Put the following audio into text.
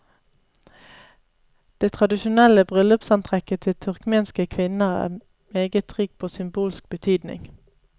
Det tradisjonelle bryllupsantrekket til turkmenske kvinner er meget rikt på symbolsk betydning.